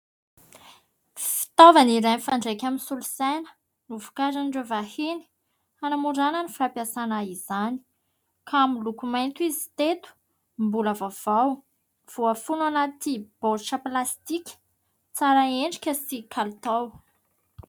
Fitaovana iray mifandraika amin'ny solosaina, novokarin'ireo vahiny hanamorana ny fahampiasana izany ka miloko mainty izy teto, mbola vaovao voafono anaty baoritra plastika tsara endrika sy kalitao.